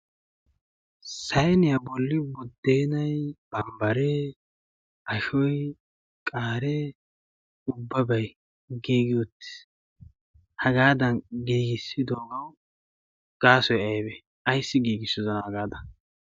saeniyaa bolli boddeenay bambbaree ashoy qaaree ubbabay giigi uttiis. hagaadan giigissidoogawu gaasoy aybe ayssi giigissodana hagaada